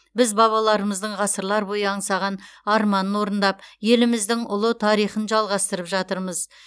біз бабаларымыздың ғасырлар бойы аңсаған арманын орындап еліміздің ұлы тарихын жалғастырып жатырмыз